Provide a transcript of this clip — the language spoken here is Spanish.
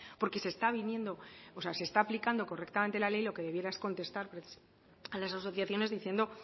porque se está aplicando correctamente la ley lo que debiera es contestar a las asociaciones diciendo